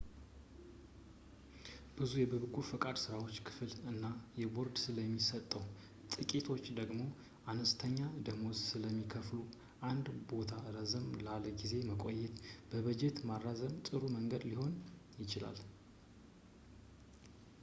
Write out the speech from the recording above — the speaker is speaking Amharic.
ብዙ የበጎ ፈቃድ ሥራዎች ክፍል እና ቦርድ ስለሚሰጡ ጥቂቶች ደግሞ አነስተኛ ደመወዝ ስለሚከፍሉ አንድ ቦታ ረዘም ላለ ጊዜ ለመቆየት በጀት ማራዘም ጥሩ መንገድ ሊሆን ይችላል